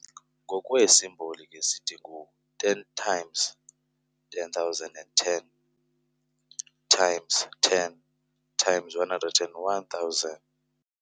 Ngokweesimboli ke sithi ngu- "10 × 100 10 × 10 × 10 1000".